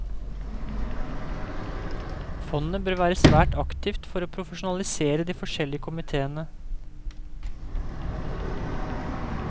Fondet bør være svært aktivt for å profesjonalisere de forskjellige komitéene.